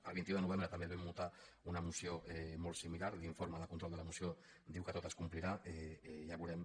el vint un de novembre també vam votar una moció molt similar l’informe de control de la moció diu que tot es complirà ja ho veurem